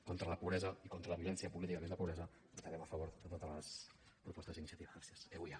contra la pobresa i contra la violència política que és la pobresa votarem a favor de totes les propostes d’iniciativa euia